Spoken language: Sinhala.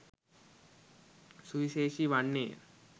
සුවිශේෂී වන්නේය.